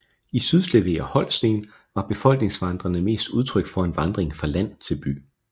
I Sydslesvig og Holsten var befolkningsvandringerne mest udtryk for en vandring fra land til by